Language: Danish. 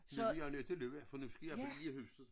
Nu bliver jeg nødt til at løbe for nu skal jeg på lille huset